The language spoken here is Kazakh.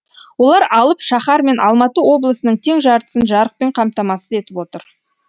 олар алып шаһар мен алматы облысының тең жартысын жарықпен қамтамасыз етіп отыр